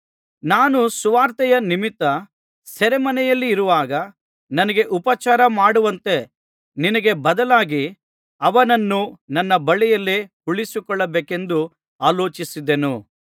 ನಾನು ಸುವಾರ್ತೆಯ ನಿಮಿತ್ತ ಸೆರೆಮನೆಯಲ್ಲಿರುವಾಗ ನನಗೆ ಉಪಚಾರಮಾಡುವಂತೆ ನಿನಗೆ ಬದಲಾಗಿ ಅವನನ್ನು ನನ್ನ ಬಳಿಯಲ್ಲೇ ಉಳಿಸಿಕೊಳ್ಳಬೇಕೆಂದು ಆಲೋಚಿಸಿದ್ದೆನು